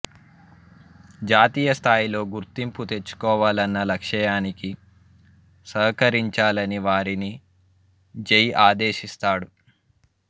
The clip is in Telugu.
జాతీయస్థాయిలో గుర్తింపు తెచ్చుకోవాలన్న లక్ష్యానికి సహకరించాలని వారిని జై ఆదేశిస్తాడు